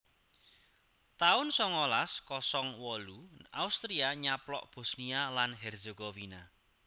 taun songolas kosong wolu Austria nyaplok Bosnia lan Herzegovina